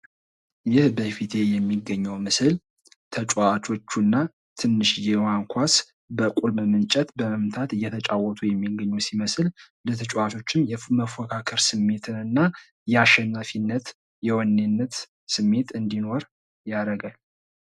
ይህ በፊቴ የሚገኘው ምስል ተጫዋቾቹና ትንሽየዋን ኳስ በቁልምም እንጨት በመምታት እየተጫወቱ የሚገኙ ሲመስል ለተጫዋቾችም መፎካከር ስሜትንና የአሸናፊነት፣ የወኔነት ስሜት እንዲኖር ያረጋል።